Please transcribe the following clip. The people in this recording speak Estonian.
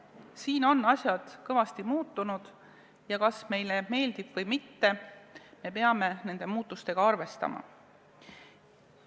Siin on asjad kõvasti muutunud ja kas meile meeldib või mitte, me peame nende muutustega arvestama.